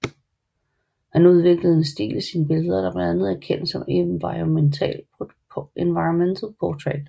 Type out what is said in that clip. Han udviklede en stil i sine billeder der er kendt som environmental portrait